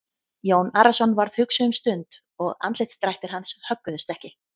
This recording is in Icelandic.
Jón Arason varð hugsi um stund og andlitsdrættir hans högguðust ekki.